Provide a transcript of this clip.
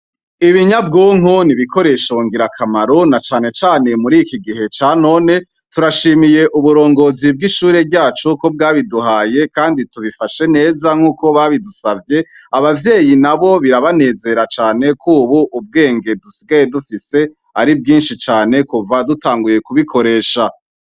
Ibinyabwonko ni ibikoresho ngirakamaro na cane cane mur'iki gihe ca none. Turashimiye uburongozi bw'ishure ryacu ko bwabiduhaye kandi tubifashe neza nk'uko babidusavye. Abavyeyi nabo birabanezera cane k'ubu ubwenge dusigaye dufise ari bwinshi cane kuva dutanguye kubikoresha.